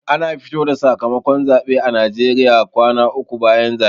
Ana fito da sakamakon zaɓe a najeriya kwana uku bayan zaɓe